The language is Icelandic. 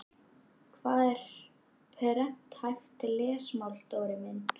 Hvað er prenthæft lesmál Dóri minn?